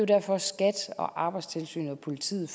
derfor at skat arbejdstilsynet og politiet